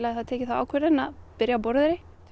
hafi tekið þá ákvörðun að byrja á Borðeyri